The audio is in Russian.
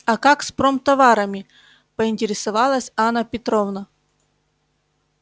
а как с промтоварами поинтересовалась анна петровна